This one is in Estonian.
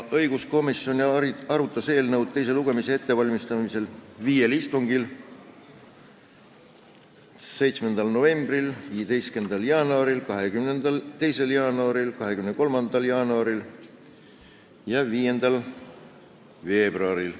Õiguskomisjon arutas eelnõu enne teist lugemist viiel istungil: 7. novembril, 15. jaanuaril, 22. jaanuaril, 23. jaanuaril ja 5. veebruaril.